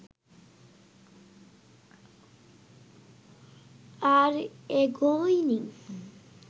আর এগোয়নি